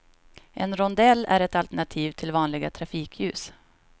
En rondell är ett alternativ till vanliga trafikljus.